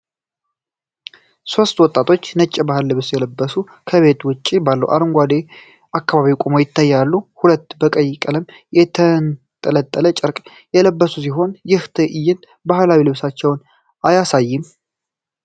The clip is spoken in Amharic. ሶስት ወጣቶች ነጭ ባህላዊ ልብስ ለብሰው ከቤት ውጭ ባለው አረንጓዴ አካባቢ ቆመው ይታያሉ፤ ሁሉም በቀይ ቀለም የተንጠለጠለ ጨርቅ የለበሱ ሲሆን፣ ይህ ትዕይንት ባህላዊ ልብሳቸውን አያሳይም?